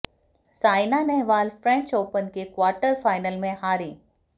Saina Nehwal French Open के quarter final में हारीं